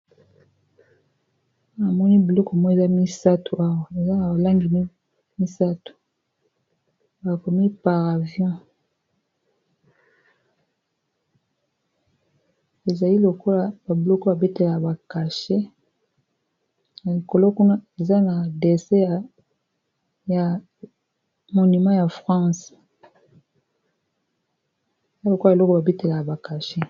Namoni biloko moko misatu eza na langi misatu bakomi par avion ezali lokola ba biloko oyo ba betelaka ba cachet na likolo kuna eza na dessin ya monima ya france lokola biloko babetelaka bacache